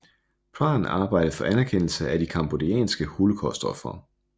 Pran arbejdede for anerkendelse af de cambodjanske holocaustofre